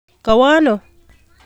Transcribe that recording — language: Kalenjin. Kowo ano?